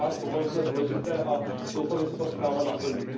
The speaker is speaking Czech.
Ty zvláště považuji za důležité a doufám, že se ta zpráva naplní.